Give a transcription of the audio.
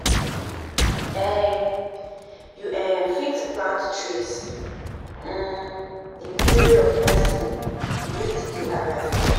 um You um fit plant trees um in memory of person wey still dey alive